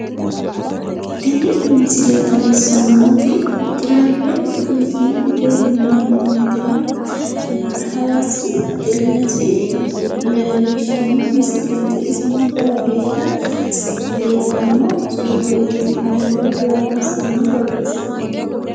Tini misile xawissannoti tiraweeli turiizimete yineemmo woyiteno hawaasi baxillessi leellishshanno misileeti iseno jawa geeshsha biiffanno tsuufeeti I love hawasa yine borreessinoonnite.